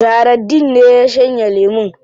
Zahraddeen ne ya shanye lemun.